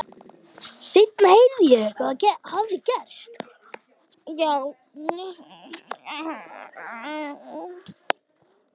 Seinna heyrði ég hvað hafði gerst.